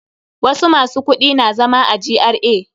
Wasu masu kudi na zama a GRA.